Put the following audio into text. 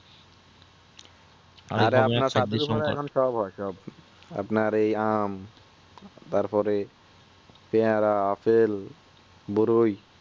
এখন কর আছে আর কি আপনার সব হয় সব আপনার ওই আম তারপরে পেয়ারা আপেল বেরোয়